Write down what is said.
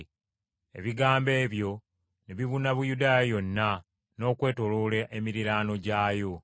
Ebigambo ebyo ne bibuna Buyudaaya yonna n’okwetooloola emiriraano gyayo.